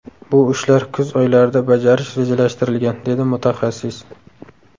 Bu ishlar kuz oylarida bajarish rejalashtirilgan”, – dedi mutaxassis.